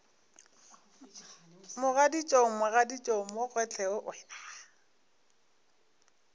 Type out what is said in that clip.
mogaditšong mogaditšong mo gohle o